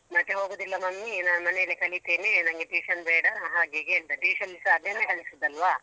ಮತ್ತೆ ಹೋಗುದಿಲ್ಲ mummy ನಾನ್ ಮನೇಲೆ ಕಲಿತೇನೆ ನನ್ಗೆ tuition ಬೇಡ ಹಾಗೆ ಹೀಗೆ ಅಂದ tuition ಅಲ್ಲಿಸ ಅದನ್ನೇ ಹೇಳಿಸೋದಲ್ವಾ.